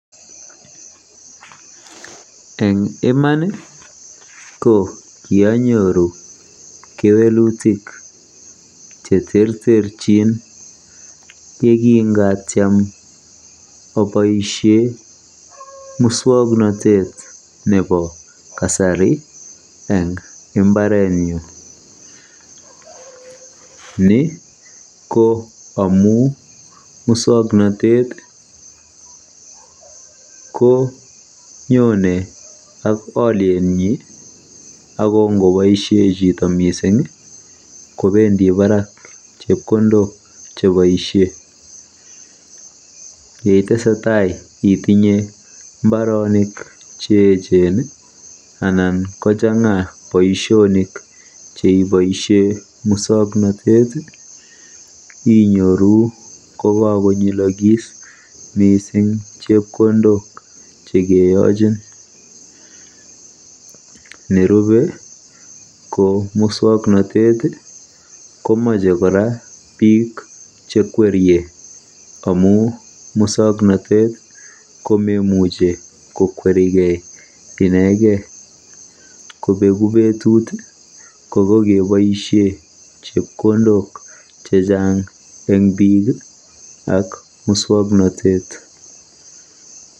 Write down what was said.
Eng iman ko kianyoru kewelutik cheterterchin yekingatiem aboisie muswoknotet eng mbaretnyu. Ni ko amu muswoknatet konyone ak olietnyi ako ngoboisie chito mising kobendi baraak chepkondok cheboisie. Yeitesetai itinye mbaronik cheechen anan kochang'a boisionik cheboisie muswoknatet inyoru kokakonyilokis chepkondok chekeyochin. Nerubei ko muswoknotet komeche kora biik chekwerie amu muswoknotet komemuchi kokwerikei inegei. Kobegu betut ko kokeboisie chepkondok chechaang eng biik ak eng muswoknotet.